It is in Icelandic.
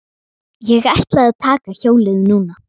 Ég ætla að taka hjólið núna.